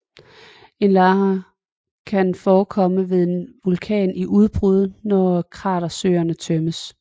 En lahar kan forekomme ved en vulkan i udbrud når kratersøen tømmes